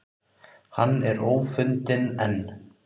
Hann er ófundinn enn